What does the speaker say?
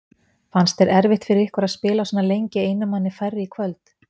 Fannst þér það erfitt fyrir ykkur að spila svona lengi einum manni færri í kvöld?